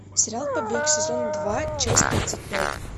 сериал побег сезон два часть тридцать пять